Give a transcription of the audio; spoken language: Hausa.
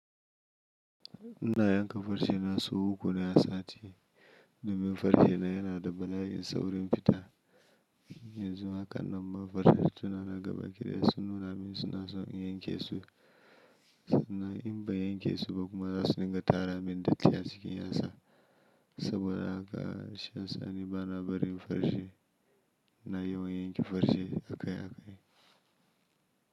Ina yanka farce na sau uku na sati. Domin farce na yana da bala'in saurin fita. Yanzu haka nan ma farce suna raga bakin da su nuna mini suna son in yanke su. Na in ba yanke su ba kuma za su ninga tara min datti a cikin yatsa. Saboda haka shiyasa ni bana barin farce ina yawan yanke farce akai-akai.